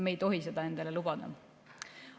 Me ei tohi seda endale lubada.